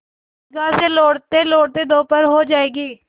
ईदगाह से लौटतेलौटते दोपहर हो जाएगी